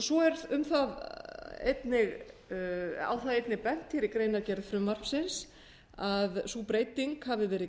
svo er einnig á það bent í greinargerð frumvarpsins að sú breyting hafi verið